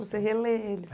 Você relê eles,